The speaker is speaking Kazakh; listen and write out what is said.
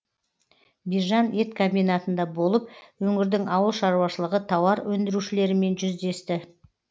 бижан ет комбинатында болып өңірдің ауыл шаруашылығы тауар өндірушілерімен жүздесті